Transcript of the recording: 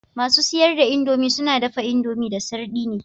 Masu siyar da indomie suna dafa indomie da sardine